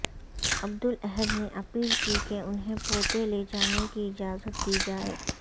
عبدالاحدنے اپیل کی کہ انہیں پوتے لے جانے کی اجازت دی جائے